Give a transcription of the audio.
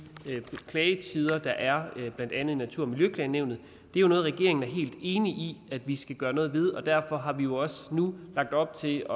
klagetider der er blandt andet i natur og miljøklagenævnet at det er noget regeringen er helt enig i at vi skal gøre noget ved derfor har vi også nu lagt op til